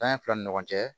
Tanya fila ni ɲɔgɔn cɛ